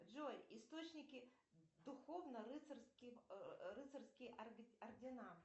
джой источники духовно рыцарские ордена